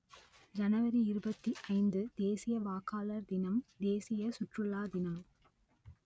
ஜனவரி இருபத்தி ஐந்து தேசிய வாக்காளர் தினம் தேசிய சுற்றுலா தினம்